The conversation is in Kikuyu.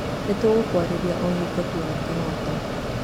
Nĩ tũgũkwarĩria o hingo tuona kĩhoto.